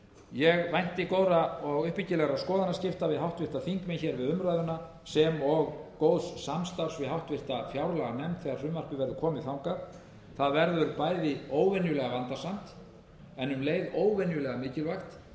ég vænti góðra og uppbyggilegra skoðanaskipta við háttvirtir þingmenn hér við umræðuna sem og góðs samstarfs við háttvirta fjárlaganefnd þegar frumvarpið verður komið þangað það verður bæði óvenjulega vandasamt en um leið óvenjulega mikilvægt að